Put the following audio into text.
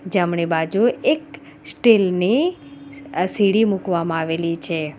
જમણી બાજુ એક સ્ટીલ ની અહ સીડી મૂકવામાં આવેલી છે.